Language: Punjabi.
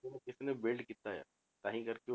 ਉਹ ਕਿਸੇ ਨੇ built ਕੀਤਾ ਆ ਤਾਂਹੀ ਕਰਕੇ